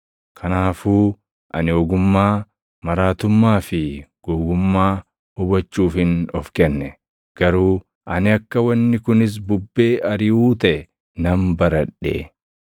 Kanaafuu ani ogummaa, maraatummaa fi gowwummaa hubachuufin of kenne; garuu ani akka wanni kunis bubbee ariʼuu taʼe nan baradhe.